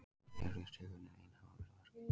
Hér virðist tilviljunin ein hafa verið að verki.